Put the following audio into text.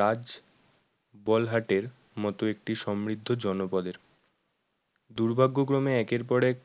রাজবলহাট এর মত একটি সমৃদ্ধ জনপদের দুর্ভাগ্যক্রমে একের পর এক